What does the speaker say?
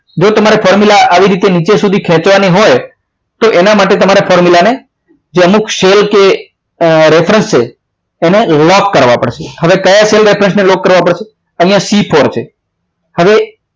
જો તમારે formula આવી રીતે નીચે સુધી ખેંચવાની હોય તો તમારે તો એના માટે તમારા formula ને જો અમુક cell કે જે reference છે એને લોક કરવા પડશે હવે કયા reference ને લોક કરવો પડશે અહીંયા C four છે હવે